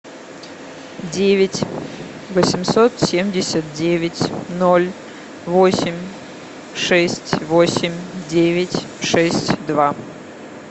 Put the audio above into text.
девять восемьсот семьдесят девять ноль восемь шесть восемь девять шесть два